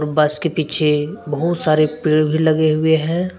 बस के पीछे बहुत सारे पेड़ भी लगे हुए हैं।